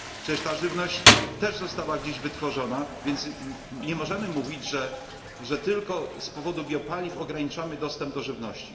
Przecież ta żywność też została gdzieś wytworzona, więc nie możemy mówić, że tylko z powodu biopaliw ograniczamy dostęp do żywności.